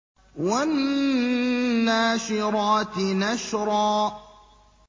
وَالنَّاشِرَاتِ نَشْرًا